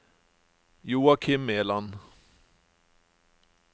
Joakim Meland